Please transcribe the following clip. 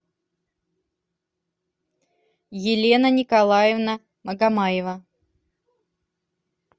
елена николаевна магомаева